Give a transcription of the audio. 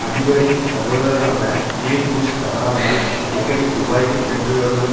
அதிபரின் சகோதரரான Neil Bush தவறாமல் அடிக்கடி துபாய்க்கு சென்றுவருவதன்